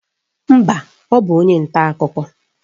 Mba, ọ bụ onye nta akụkọ.